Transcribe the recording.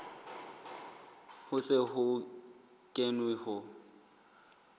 ho se ho kenwe ho